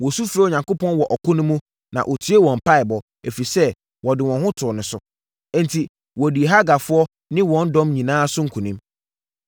Wɔsu frɛɛ Onyankopɔn wɔ ɔko no mu, na ɔtiee wɔn mpaeɛbɔ, ɛfiri sɛ, wɔde wɔn ho too no so. Enti, wɔdii Hagarfoɔ no ne wɔn dɔm nyinaa so nkonim.